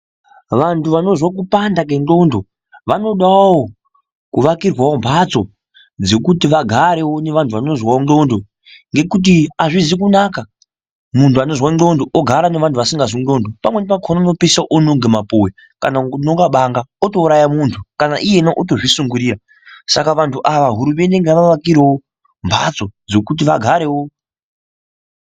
Vantu vanozwa kupanda kwendxondo vanodawo kuvakirwawo mbatso dzekuti vagarewo nevantu vanozwawo ndxondo ngekuti azvizvi kunaka muntu anozwa ndxondo ogara nevantu vasikazwi ndxondo pamweni pakhona unopeisira ononge mapuwe kana kubonga banga otouraya muntu kana iyena otozvisungirira saka vantu ava hurumende ngaivavakirewo mhatso dzekuti vagarewo.